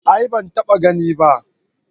A'a ban taba gani ba